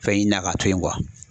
Fɛn ɲinina k'a to yen